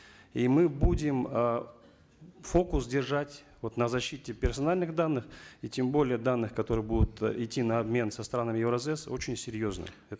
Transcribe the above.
и мы будем э фокус держать вот на защите персональных данных и тем более данных которые будут идти на обмен со странами евразэс очень серьезный